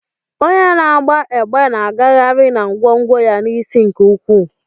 Onye na-agba egbe na-agagharị na ngwongwo ya n'isi nke ukwuu.